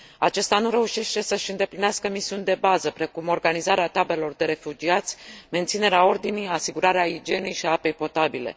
Acesta nu reușește să și îndeplinească misiuni de bază, precum organizarea taberelor de refugiați, menținerea ordinii, asigurarea igienei și a apei potabile.